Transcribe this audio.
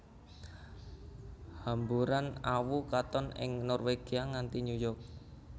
Hamburan awu katon ing Norwegia nganti New York